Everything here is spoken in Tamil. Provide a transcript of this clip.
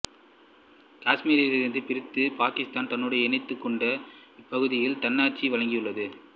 காஷ்மீரத்திலிருந்து பிரித்து பாகிஸ்தான் தன்னுடன் இணைத்துக் கொண்ட இப்பகுதிகளுக்கு தன்னாட்சி வழங்கியுள்ளது